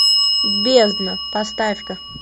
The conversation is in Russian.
бездна поставь ка